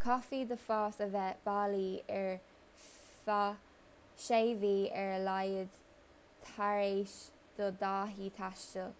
caithfidh do phas a bheith bailí ar feadh 6 mhí ar a laghad tar éis do dhátaí taistil.